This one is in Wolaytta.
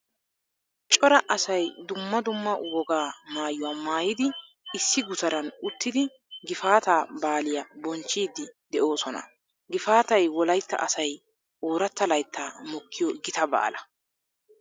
Cora asay dumma dumma wogaa maayuwaa maayidi issi gutaran uttidi Gifaataa baaliyaa bonchchiiddi de'oosona. Gifaatay Wolaytta asay ooratta layttaa mokkiyoo gita baala.